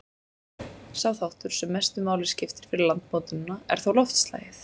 Sá þáttur, sem mestu máli skiptir fyrir landmótunina, er þó loftslagið.